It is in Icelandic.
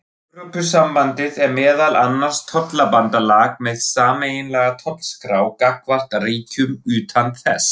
Evrópusambandið er meðal annars tollabandalag með sameiginlega tollskrá gagnvart ríkjum utan þess.